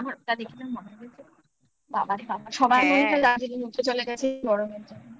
আমার ওটা দেখে তো মনে হচ্ছে বাবারে সবার মনটা Darjeeling উঠে চলে গেছে গরমের জন্য